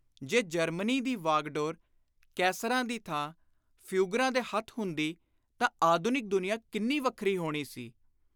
ਜੇ ਜਰਮਨੀ ਦੀ ਵਾਗਡੋਰ ‘ਕੈਸਰਾਂ’ ਦੀ ਥਾਂ ‘ਫਿਊਗਰਾ’’ ਦੇ ਹੱਥ ਹੁੰਦੀ ਤਾਂ ਆਧੁਨਿਕ ਦੁਨੀਆਂ ਕਿੰਨੀ ਵੱਖਰੀ ਹੋਣੀ ਸੀ।